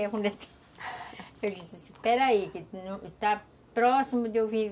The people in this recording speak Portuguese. Eu disse, espera aí, que está próximo